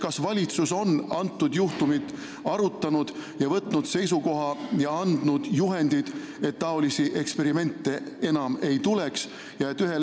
Kas valitsus on seda juhtumit arutanud, võtnud seisukoha ja andnud juhiseid, et selliseid eksperimente enam ei tuleks?